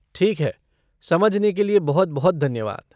ठीक है, समझने के लिए बहुत बहुत धन्यवाद।